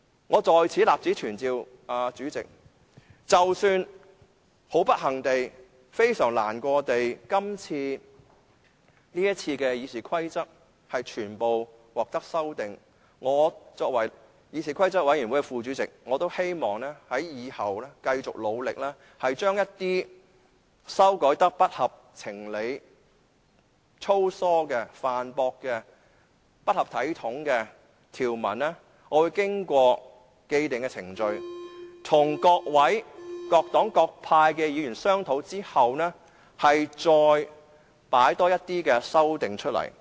我在此立此存照，主席，即使很不幸地、非常難過地，這次《議事規則》的修訂建議全部獲得通過，身為議事規則委員會副主席，我希望以後繼續努力，將一些被修改得不合情理、粗疏的、犯駁的、不合體統的條文，經過既定程序，與各黨各派議員商討後，再提出一些修訂。